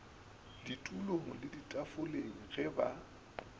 ditulong le ditafoleng ge ba